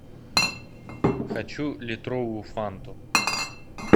хочу литровую фанту